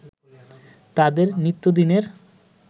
তাদের নিত্যদিনের